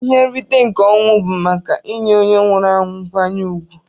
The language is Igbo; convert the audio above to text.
Ihe nrite nke ọnwụ bu maka inye onye nwụrụ anwu nkwanye ugwu.